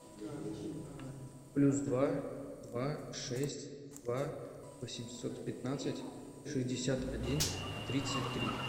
плюс два два шесть два восемьсот пятнадцать шестьдесят один тридцать три